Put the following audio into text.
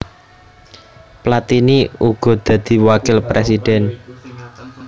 Platini uga dadi wakil prèsidén